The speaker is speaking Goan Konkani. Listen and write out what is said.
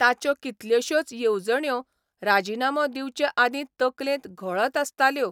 ताच्यो कितल्योशोच येवजण्यो राजिनामो दिवचे आदीं तकलेंत घोळत आसताल्यो.